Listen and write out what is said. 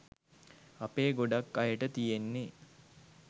අපේ ගොඩක් අයට තියෙන්නේ